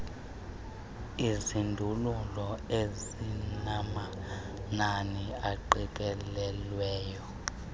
izindululo ezinamanani aqikelelweyo